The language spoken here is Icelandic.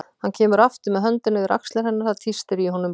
Hann kemur aftur með höndina yfir axlir hennar, það tístir í honum líka.